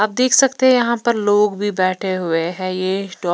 आप देख सकते हैं यहां पर लोग भी बैठे हुए हैं ये स्टॉप --